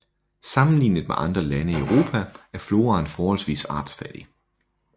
Sammenlignet med andre lande i Europa er floraen forholdsvis artsfattig